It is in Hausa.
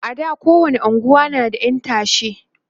a da kowani unguwa na da ƴan tashe